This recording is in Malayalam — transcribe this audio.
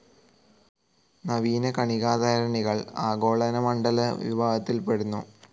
നവീന കണികാതരണികൾ ആഗോളനമണ്ഡല വിഭാഗത്തിൽ പെടുന്നു.